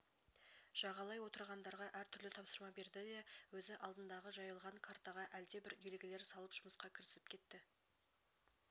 жағалай отырғандарға әртүрлі тапсырма берді де өз алдындағы жайылған картаға әлдебір белгілер салып жұмысқа кірісіп кетті